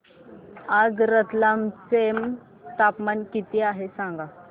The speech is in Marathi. आज रतलाम चे तापमान किती आहे सांगा